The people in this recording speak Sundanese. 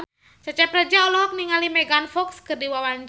Cecep Reza olohok ningali Megan Fox keur diwawancara